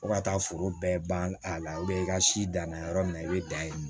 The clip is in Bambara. Fo ka taa foro bɛɛ ban a la i ka si danna yɔrɔ min na i bɛ dan yen nɔ